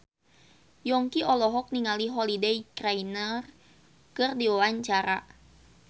Yongki olohok ningali Holliday Grainger keur diwawancara